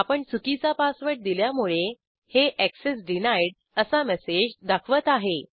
आपण चुकीचा पासवर्ड दिल्यामुळे हे एक्सेस डिनाईड असा मेसेज दाखवत आहे